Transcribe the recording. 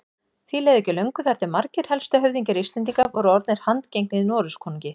Því leið ekki á löngu þar til margir helstu höfðingjar Íslendinga voru orðnir handgengnir Noregskonungi.